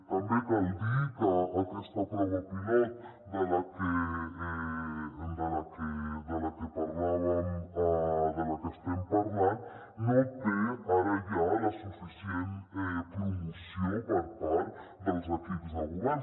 també cal dir que aquesta prova pilot de la que parlàvem de la que estem parlant no té ara ja la suficient promoció per part dels equips de govern